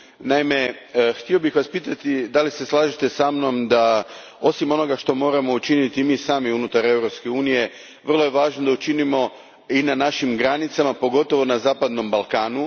Naime, htio bih Vas pitati slažete li se sa mnom da osim onoga što moramo učiniti i mi sami unutar Europske unije vrlo je važno da učinimo i na našim granicama, pogotovo na zapadnom Balkanu?